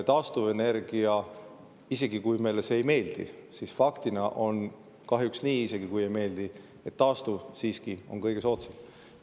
Fakt on see – isegi kui see meile ei meeldi, on see kahjuks nii –, et taastuvenergia on siiski kõige soodsam.